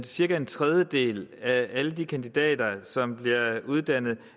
cirka en tredjedel af alle de kandidater som bliver uddannet